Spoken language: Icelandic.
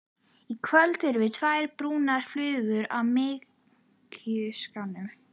Í kvöld erum við tvær brúnar flugur á mykjuskán.